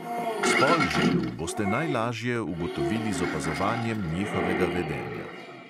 Spol želv boste najlažje ugotovili z opazovanjem njihovega vedenja.